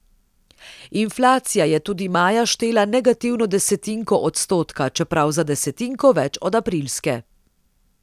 Inflacija je tudi maja štela negativno desetinko odstotka, čeprav za desetinko več od aprilske.